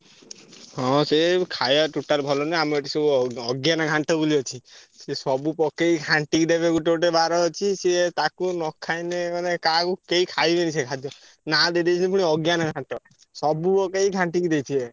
ହଁ ସେଇ ଖାୟା total ଭଲ ନୁହେଁ। ଆମର ଏଠି ସବୁ ଅ ଅଜ୍ଞାନ ଘାଣ୍ଟ ବୋଲି ଅଛି। ସିଏ ସବୁ ପକେଇ ଘାଣ୍ଟି କି ଦେବେ ଗୋଟେ ଗୋଟେ ବାର ଅଛି। ସିଏ ତାକୁ ନ ଖାଇଲେ ଗଲେ କାହାକୁ କେହି ଖାଇବେନି ସେ ଖାଦ୍ଯ ନାଁ ଦେଇଦେଇଛନ୍ତି ଅଜ୍ଞାନ ଘାଣ୍ଟ। ସବୁ ପକେଇ ଘାଣ୍ଟି କି ଦେଇଥିବେ।